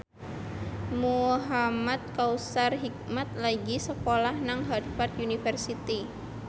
Muhamad Kautsar Hikmat lagi sekolah nang Harvard university